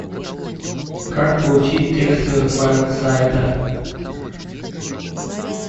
как получить текстовый файл сайта